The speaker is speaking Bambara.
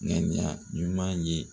Ŋaniya ɲuman ye.